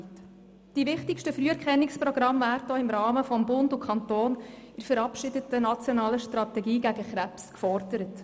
Die wichtigsten Früherkennungsprogramme werden auch im Rahmen der von Bund und Kantonen verabschiedeten nationalen Strategie gegen Krebs gefordert.